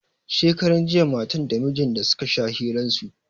Shekaran jiya matan da mijin da suka sha hiran su.